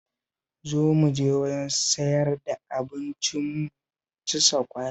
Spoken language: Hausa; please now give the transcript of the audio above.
Zo mu je wajen sayar da abinci mu ci sakwara